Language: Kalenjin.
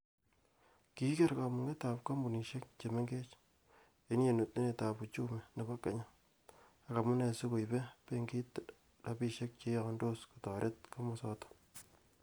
Kikigeer kamugeetab kompunisiek che mengech, en yetunetab uchumi nebo kenya ak amune sikoibe benkit rabinik cheiyondos kotoret komosoton.